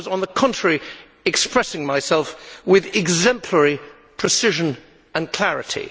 I was, on the contrary, expressing myself with exemplary precision and clarity.